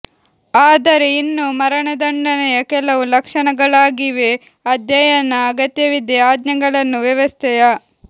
ಆದರೆ ಇನ್ನೂ ಮರಣದಂಡನೆಯ ಕೆಲವು ಲಕ್ಷಣಗಳಾಗಿವೆ ಅಧ್ಯಯನ ಅಗತ್ಯವಿದೆ ಆಜ್ಞೆಗಳನ್ನು ವ್ಯವಸ್ಥೆಯ